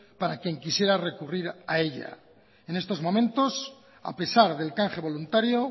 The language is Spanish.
para quien quisiera recurrir a ella en estos momentos a pesar del canje voluntario